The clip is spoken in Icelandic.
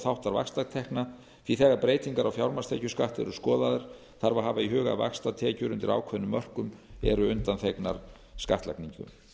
verðbótaþáttar vaxtatekna því að þegar breytingar á fjármagnstekjuskatti eru skoðaðar þarf að hafa í huga að vaxtatekjur undir ákveðnum mörkum eru undanþegnar skattlagningu